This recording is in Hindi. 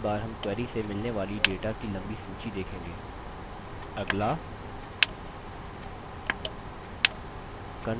इस बार हम query से मिलने वाली data की लम्बी सूची देखेंगे